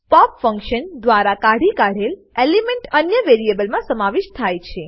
pop function દ્વારા કાઢી કાઢેલ એલિમેન્ટ અન્ય વેરીએબલમા સમાવિષ્ઠ થાય છે